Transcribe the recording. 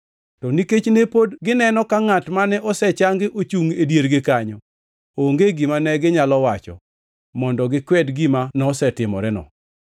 To nikech ne pod gineno ka ngʼat mane osechangi ochungʼ e diergi kanyo, onge gima neginyalo wacho mondo gikwed gima nosetimoreno.